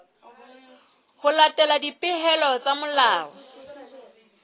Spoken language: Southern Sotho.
ho latela dipehelo tsa molao